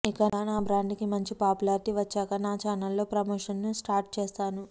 ఇక నా బ్రాండ్ కి మంచి పాపులారిటీ వచ్చాక నా ఛానెల్లో ప్రమోషన్స్ స్టార్ట్ చేశాను